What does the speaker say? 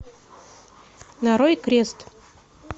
нарой крест